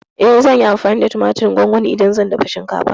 Eh, zan yi amfani da tumatirin gongoni idan zan dafa shinkafa.